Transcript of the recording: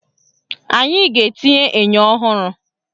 Anyị ga-etinye enyo ọhụrụ